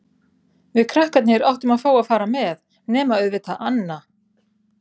Við krakkarnir áttum að fá að fara með, nema auðvitað Anna.